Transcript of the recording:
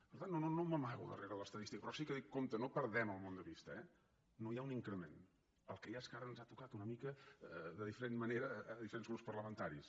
per tant no m’amago darrere l’estadística però sí que dic compte no perdem el món de vista eh no hi ha un increment el que hi ha és que ara ens ha tocat una mica de diferent manera a diferents grups parlamentaris